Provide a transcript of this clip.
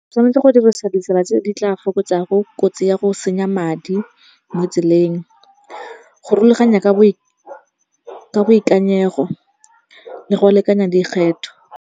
Tshwanetse go dirisa ditsela tse di tla fokotsa go kotsi ya go senya madi mo tseleng. Go rulaganya ka boikanyego le go lekanya dikgetho.